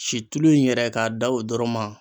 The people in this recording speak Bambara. Si tulu in yɛrɛ ka da o dɔrɔn ma